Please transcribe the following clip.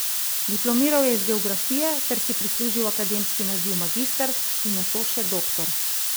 Diplomiral je iz geografije ter si prislužil akademski naziv magister in nato še doktor.